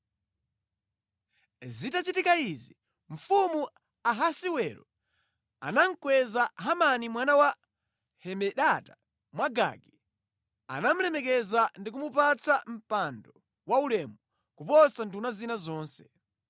Zitachitika izi, mfumu Ahasiwero anamukweza Hamani mwana wa Hamedata Mwagagi, anamulemekeza ndikumupatsa mpando wa ulemu kuposa nduna zina zonse.